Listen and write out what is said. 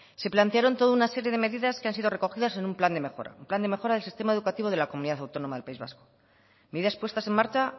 se plantearon toda una serie de medidas que han sido recogidas en un plan de mejora un plan de mejora del sistema educativo de la comunidad autónoma del país vasco medidas puestas en marcha